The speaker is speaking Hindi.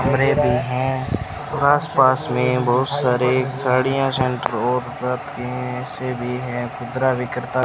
और ये भी हैं और आसपास में बहुत सारे साड़ियां सेंटर और ऐसे भी हैं खुदरा विक्रेता --